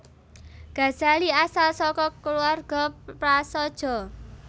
Ghazali asal saka kulawarga prasaja